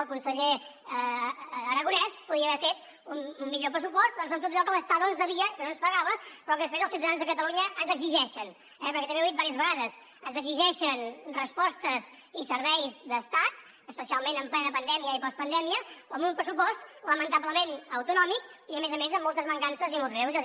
el conseller aragonès podia haver fet un millor pressupost doncs amb tot allò que l’estado ens devia que no ens pagava però que després als ciutadans de catalunya ens exigeixen eh perquè també ho he dit diverses vegades ens exigeixen respostes i serveis d’estat especialment en plena pandèmia i postpandèmia amb un pressupost lamentablement autonòmic i a més a més amb moltes mancances i molts greuges